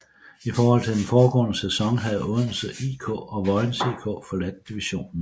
I forhold til den foregående sæson havde Odense IK og Vojens IK forladt divisionen